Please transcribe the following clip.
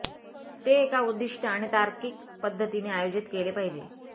ते एका उद्दीष्ट आणि तार्किक पद्धतीने आयोजित केले पाहिजे